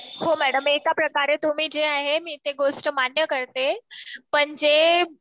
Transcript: हो मॅडम एकाप्रकारे तुम्ही जे आहे मी ते गोष्ट मान्य करते. पण जे